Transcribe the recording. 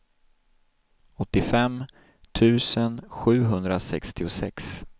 åttiofem tusen sjuhundrasextiosex